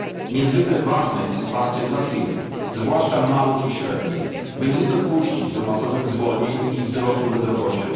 Niezwykle ważne jest wsparcie dla firm, zwłaszcza małych i średnich, by nie dopuścić do masowych zwolnień i wzrostu bezrobocia.